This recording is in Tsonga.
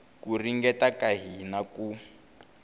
ku ringeta ka hina ku